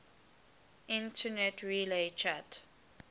internet relay chat